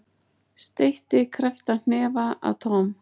Steytti krepptan hnefa að Tom.